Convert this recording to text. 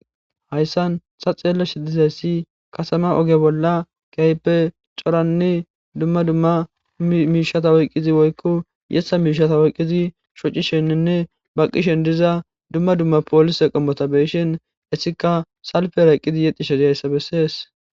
Hayssan ta xeellashe dizayssi kasama oge bolla kehippe coranne dumma dumma miishata oyqqidi woykko yeththa miishata oyqqidi shocishenninne baqqishen diza dumma dumma poolise qommota beyishin hessika salpera eqqidi yexxishe dizayssa bessees